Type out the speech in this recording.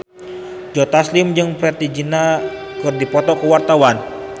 Joe Taslim jeung Preity Zinta keur dipoto ku wartawan